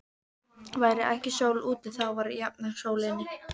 Væri ekki sól úti, þá var jafnan sól inni.